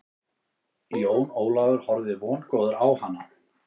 Jón Ólafur horfði vongóður á hana.